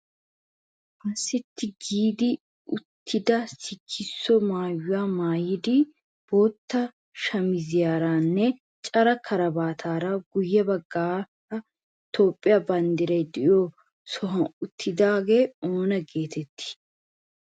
Ha sitti giidi uttida sikisso maayuwa maayidi bootta shamiziyaranne caccara karabaataara guyye baggaara Toophphiya banddiray de'iyo sohuwan uttidaagee oona geetettii?